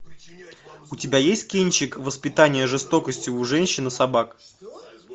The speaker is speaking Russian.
у тебя есть кинчик воспитание жестокости у женщин и собак